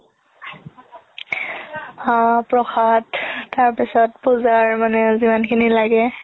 আ প্ৰসাদ তাৰ পিছত পুজাৰ মানে যিমান খিনি লাগে